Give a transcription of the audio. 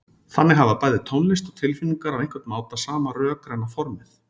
Þannig hafa bæði tónlist og tilfinningar á einhvern máta sama rökræna formið.